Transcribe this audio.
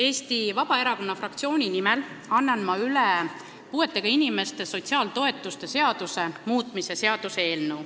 Eesti Vabaerakonna fraktsiooni nimel annan ma üle puuetega inimeste sotsiaaltoetuste seaduse muutmise seaduse eelnõu.